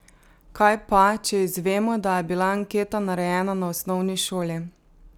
Kaj pa, če izvemo, da je bila anketa narejena na osnovni šoli?